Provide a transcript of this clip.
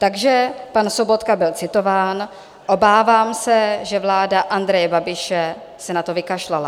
Takže pan Sobotka byl citován: "Obávám se, že vláda Andreje Babiše se na to vykašlala."